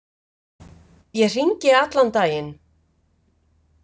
Ég hringi allan daginn.